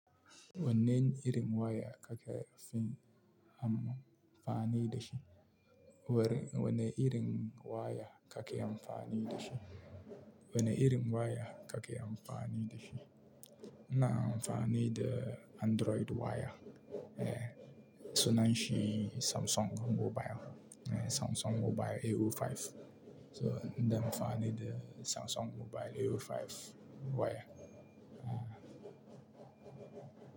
Wannan irin waya kake fin amfani da shi? Wannan irin waya kake amfani da shi? Wanne irin waya kake amfani da shi? ina amfani da Android waya. Eh, sunan shi Samsung mobile. Eh, Samsung mobile a sifili biyar. So, ina amfani da Samsung mobile a sifili biyar waya. Ah.